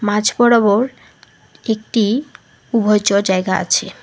মাঝ বরাবর একটি উভয়চড় জায়গা আছে।